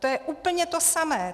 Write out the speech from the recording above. To je úplně to samé.